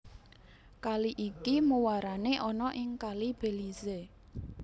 Kali iki muarane ana ing Kali Belize